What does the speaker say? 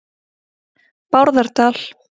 Bárðardal